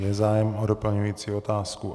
Je zájem o doplňující otázku?